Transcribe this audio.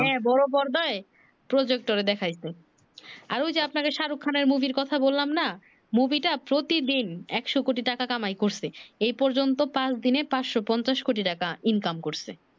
হ্যাঁ বড় পর্দায় projector এ দেখাইছে আর ঐ যে আপনাদের শাহরুখ খানের মুভির কথা বললাম না মুভি টা প্রতি দিন একশো কোটি টাকা কামাই করছে এই পর্যন্ত পাচ দিনে পাচশো পঞ্চাশ কোটি টাকা Income করছে